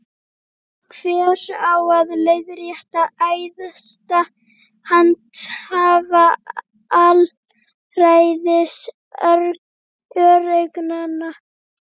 Hver á að leiðrétta æðsta handhafa alræðis öreiganna?